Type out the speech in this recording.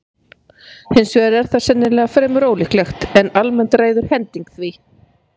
Hins vegar er það sennilega fremur ólíklegt, en almennt ræður hending því.